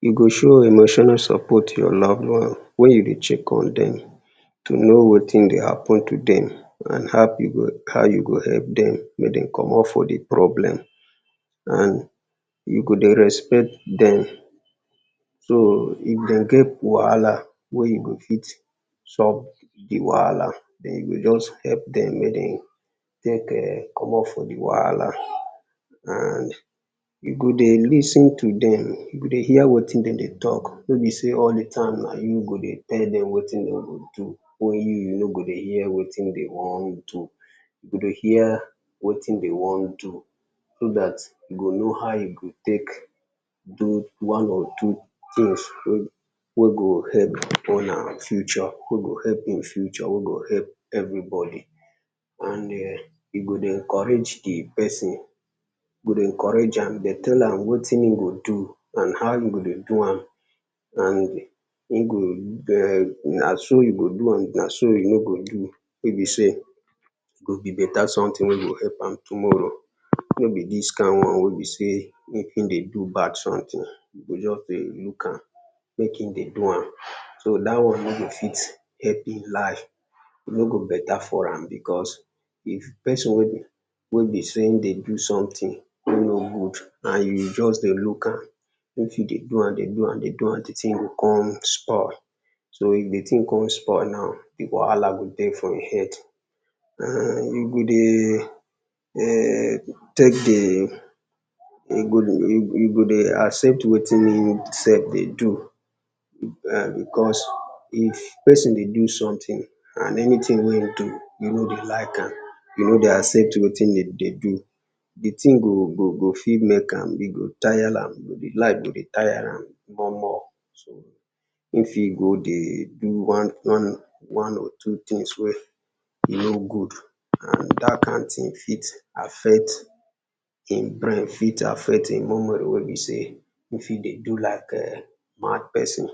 You go show emotional support to your loved one, wen you dey check on dem to know wetin dey happen to dem, and how you go help dem make dem komot for di problem and you go dey respect dem. So if dem get wahala wey you go fit solve di wahala den you go just help dem make dem komot for di wahala and you go dey lis ten to dem, you go dey hear wetin dem dey talk, nor be sey all di time na you go dey tell dem wetin dem go do wen you you no go hear wetin dem wan do. You go hear wetin dem wan do, so dat you too go know one or two things wey you go use help im future, wey go help im future wey go help everybody. And [urn] you go dey encourage di person, dey encourage am dey tell am wetin im go do and how im go do am, and [urn] na so you go do am, na so you no go do wey be sey, e go be better something wey go help am tomorrow, no be dis kind one wey be sey, if im dey do bad something, you go just dey look am, make im dey do am, so dat one no go fit help im life, e no go better for am, because if person wey be sey im dey do something e no good and you just dey look am, im fit dey do am, dey do am, dey do am, di thing go come spoil, so if di thing come spoil now, wahala go dey for im head, and you go dey [urn] take di, you go dey accept wetin imsef dey do [urn] because if person dey do something and anything wey in do you no dey like am, you no dey accept wetin im dey do, di thing go fit make am, e go tire am, life go dey tie am. More more so, if you go dey do one one one or two thing spoil e no good, and dat kind thing fit affect im brain fit affect im memory wey be sey, you fit dey do like mad person,